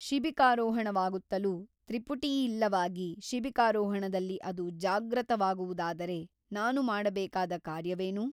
ಶಿಬಿಕಾರೋಹಣವಾಗುತ್ತಲೂ ತ್ರಿಪುಟಿಯಿಲ್ಲವಾಗಿ ಶಿಬಿಕಾರೋಹಣದಲ್ಲಿ ಅದು ಜಾಗ್ರತವಾಗುವುದಾದರೆ ನಾನು ಮಾಡಬೇಕಾದ ಕಾರ್ಯವೇನು?